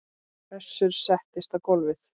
Össur settist á gólfið